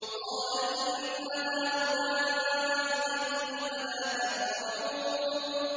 قَالَ إِنَّ هَٰؤُلَاءِ ضَيْفِي فَلَا تَفْضَحُونِ